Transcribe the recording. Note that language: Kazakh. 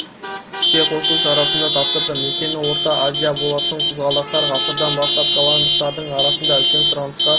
іске қосу шарасында тапсырды мекені орта азия болатын қызғалдақтар ғасырдан бастап голландтықтардың арасында үлкен сұранысқа